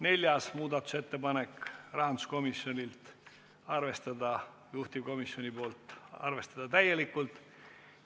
Neljas muudatusettepanek – rahanduskomisjonilt ja arvestatud täielikult.